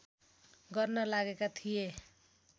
गर्न लागेका थिए